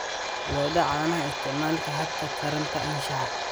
Lo'da caanaha Isticmaalka hababka taranta anshaxa.